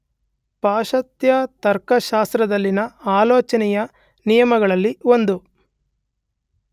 ಪಾಶ್ಚಾತ್ಯ ತರ್ಕಶಾಸ್ತ್ರದಲ್ಲಿನ ಆಲೋಚನೆಯ ನಿಯಮಗಳಲ್ಲಿ ಒಂದು .